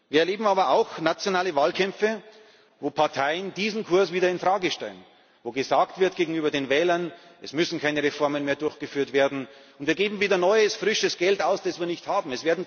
Wir erleben aber auch nationale Wahlkämpfe, in denen Parteien diesen Kurs wieder in Frage stellen, in denen gegenüber den Wählern gesagt wird Es müssen keine Reformen mehr durchgeführt werden, und wir geben wieder neues, frisches Geld aus, das wir nicht haben.